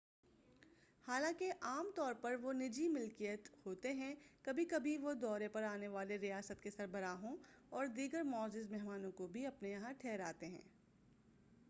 حالانکہ عام طور پر وہ نجی ملکیت ہوتے ہیں کبھی کبھی وہ دورے پر آنے والے ریاست کے سربراہوں اور دیگر معزز مہمانوں کو بھی اپنے یہاں ٹھہراتے ہیں